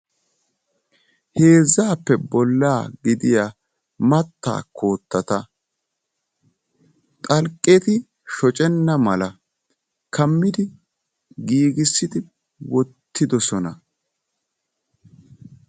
Heezzaappe bollaa gidiyaa mattaa koottata xalqqeti shocenna mala kammidi giigissidi wottidosona.